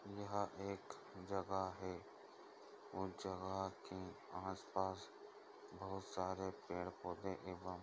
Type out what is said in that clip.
यहाँ एक जगह है उस जगह के आस पास बहोत सारे पेड़-पौधे है एवं--